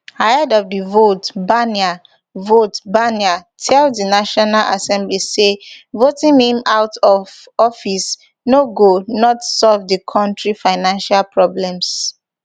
ahead of di vote barnier vote barnier tell di national assembly say voting him out of office no go not solve di kontri financial problems